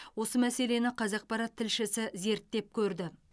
осы мәселені қазақпарат тілшісі зерттеп көрді